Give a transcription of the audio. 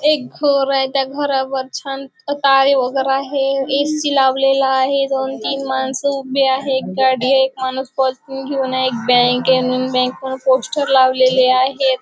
एक घर आहे त्या घरावर छान तारे वगैरे आहे ए.सी. लावलेला आहे दोन-तीन माणसं उभी आहे एक गाडी आहे एक माणूस घेऊन आहे एक बँक म्हणून बँके ने पोस्टर लावलेले आहेत.